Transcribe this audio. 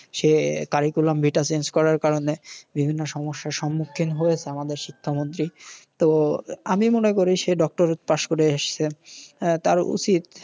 সে curriculam vita যেটা change করার কারণে বিভিন্ন সমস্যার সম্মুখীন হয়েছে আমাদের শিক্ষা মন্ত্রী। তো আমি মনে করি সে ডক্টরেট পাশ করে এসেছেন। তার উচিত সে